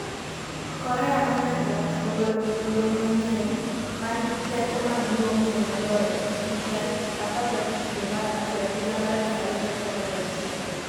Korea ma Nyanduat ogolo gig lweny manyien 'ma nigi teko maduong'ie moloyo e piny' tarik 15 dwe mar achiel higa mar 2021